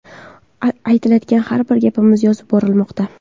Aytilayotgan har bir gapimiz yozib borilmoqda.